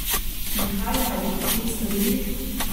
In kaj naj bi potem storili?